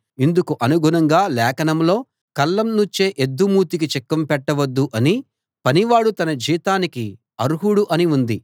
ఇందుకు అనుగుణంగా లేఖనంలో కళ్ళం నూర్చే ఎద్దు మూతికి చిక్కం పెట్టవద్దు అనీ పనివాడు తన జీతానికి అర్హుడు అనీ ఉంది